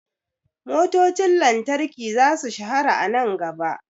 Motocin lantarki za su shahara a nan gaba.